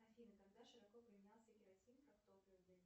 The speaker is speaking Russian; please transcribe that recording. афина когда широко применялся керосин как топливо для